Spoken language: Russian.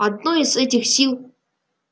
одной из этих сил